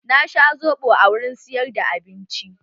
Na sha soɓo a wurin siyar da abinci.